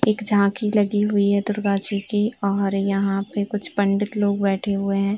एक झांकी लगी हुई है दुर्गा जी की और यहाँ पे कुछ पंडित लोग बेठे हुए हैं।